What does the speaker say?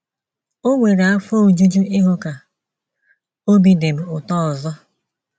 O nwere afọ ojuju ịhụ ka obi dị m ụtọ ọzọ.